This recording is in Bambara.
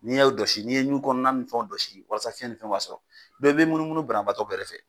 N'i'o dɔsi n'i ye nun kɔnɔ ni fɛnw dɔsi walasa fiyɛn ni fɛn b'a sɔrɔ i bɛ munumunu banbaatɔ bɛɛrɛ fɛ.